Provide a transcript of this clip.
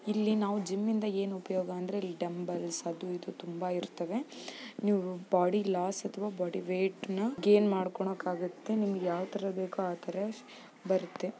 ಇಲ್ಲಿ ಜಿಮ್ ಇಂದ ಏನ್ ಉಪಯೋಗ ಅಂದ್ರೆ ಡಂಬಲ್ಸ್ ಅದು ಇದು ತುಂಬ ಇರುತ್ತೆ ನೀವು ಬಾಡಿ ಲಾಸ್ ಅಥವಾ ಬಾಡಿ ವೇಟ್ ಅನ್ನ ಗೈನ್ ಮಾಡ್ಕೊಣಕಾಗುತ್ತೆ ನಿಮಗೆ ಯಾವ ತರ ಬೇಕೋ ಆತರ ಬರುತ್ತೆ.